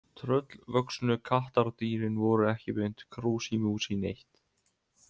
Tröllvöxnu kattardýrin voru ekki beint krúsí músí neitt.